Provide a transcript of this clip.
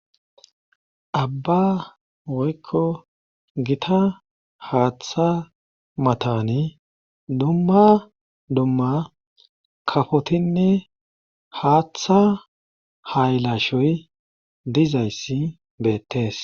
abba woykko gita haaththa matani dumma dumma kafotinne haaththa haylashoy dizayssi beettees